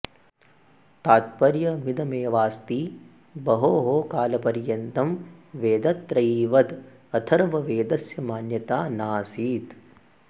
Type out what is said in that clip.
अस्य तात्पर्यमिदमेवास्ति बहोः कालपर्यन्तं वेदत्रयीवद् अथर्ववेदस्य मान्यता नासीत्